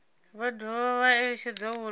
vha dovha vha eletshedzwa uri